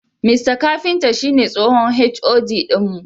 Mista Kafinta shine tsohon HOD din mu.